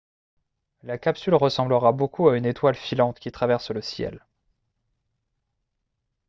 la capsule ressemblera beaucoup à une étoile filante qui traverse le ciel